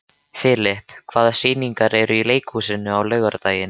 Filip, hvaða sýningar eru í leikhúsinu á laugardaginn?